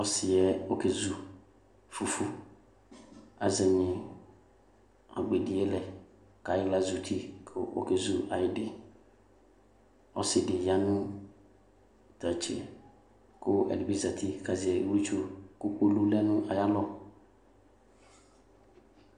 Ɔsiɛ okezu fufuAzɛnyi agbedie lɛ, kayiɣla azuti , kokezu ayidiƆsidi yanʋ tatseKʋ ɛdibi zati kazɛ iwlitsu, kʋ kpolu lɛ nʋ ayalɔ